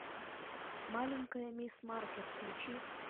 маленькая мисс маркер включи